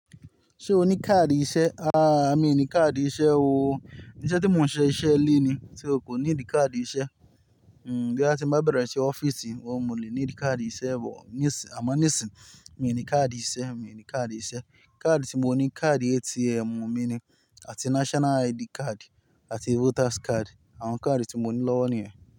Ṣé o ní káàdì iṣẹ́? Mi ní káàdì iṣẹ́ o. Iṣẹ́ tí mò ń ṣe iṣẹ́ ilé ni, so kò need káàdì iṣẹ́. Bóyá tí n bá bẹ̀rẹ̀ iṣẹ́ ọ́fíìsì, ohun mọ̀ le need káàdì iṣẹ́, bọ̀ ní sì, àmọ́ ní sì, mi ò ní káàdì iṣẹ́, mi ò ní káàdì iṣẹ́. Káàdì tí mo ní, káàdì ATM mi ni, àti national ID card, àti voters card. Àwọn káàdì tí mo ní lọ́wọ́ nìyẹn.